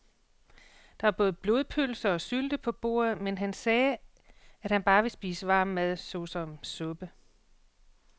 Der var både blodpølse og sylte på bordet, men han sagde, at han bare ville spise varm mad såsom suppe.